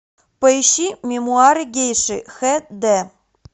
поищи мемуары гейши хэ дэ